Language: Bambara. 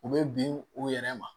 U bɛ bin u yɛrɛ ma